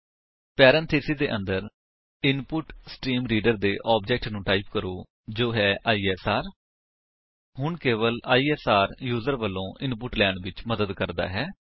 parenthesis ਦੇ ਅੰਦਰ input stream reader ਦੇ ਆਬਜੇਕਟ ਨੂੰ ਟਾਈਪ ਕਰੋ ਜੋ ਹੈ ਆਈਐਸਆਰ ਹੁਣ ਕੇਵਲ ਆਈਐਸਆਰ ਯੂਜਰ ਵਲੋਂ ਇਨਪੁਟ ਲੈਣ ਵਿੱਚ ਮਦਦ ਕਰਦਾ ਹੈ